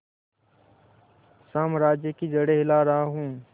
साम्राज्य की जड़ें हिला रहा हूं